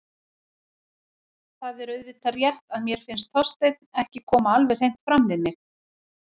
Það er auðvitað rétt að mér fannst Þorsteinn ekki koma alveg hreint fram við mig.